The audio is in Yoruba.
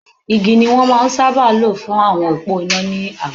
Igi ni wón ń máa sábà lo fún òpó iná ni àwọn agbègbè.